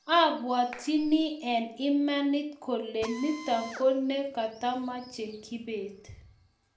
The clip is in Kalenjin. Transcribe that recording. abuatchini eng' imanit kole nitok ko ne katamache kibet